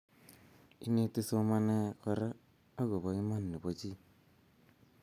ineti somanee koree akubo iman nebo chi